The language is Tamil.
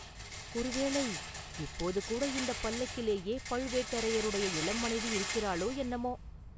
ஒருவேளை, இப்போது கூட இந்தப் பல்லக்கிலேயே பழுவேட்டரையருடைய இளம் மனைவி இருக்கிறாளோ, என்னமோ?